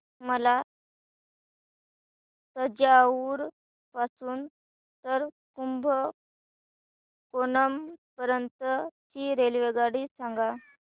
मला तंजावुर पासून तर कुंभकोणम पर्यंत ची रेल्वेगाडी सांगा